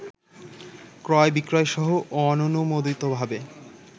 ক্রয়, বিক্রয়সহ অননুমোদিতভাবে